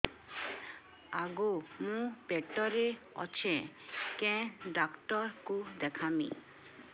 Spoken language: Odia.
ଆଗୋ ମୁଁ ପେଟରେ ଅଛେ କେନ୍ ଡାକ୍ତର କୁ ଦେଖାମି